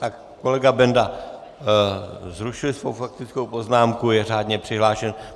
Tak kolega Benda ruší svou faktickou poznámku, je řádně přihlášen.